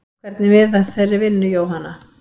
Hvernig miðar þeirri vinnu Jóhanna?